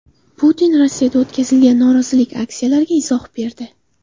Putin Rossiyada o‘tkazilgan norozilik aksiyalariga izoh berdi.